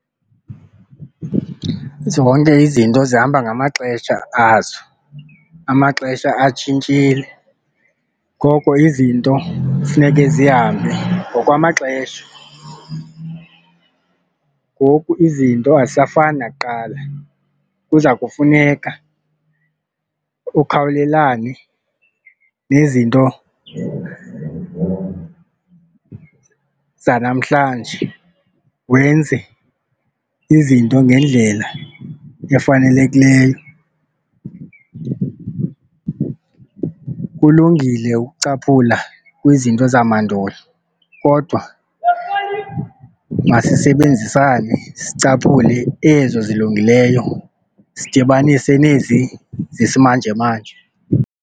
Zonke izinto zihamba ngamaxesha azo amaxesha atshintshile ngoko izinto funeke zihambe ngokwamaxesha. Ngoku izinto azisafani nakuqala, kuza kufuneka ukhawulelane nezinto zanamhlanje, wenze izinto ngendlela efanelekileyo. Kulungile ukucaphula kwizinto zamandulo kodwa masisebenzisane sicaphule ezo zilungileyo sidibanise nezi zisimanjemanje.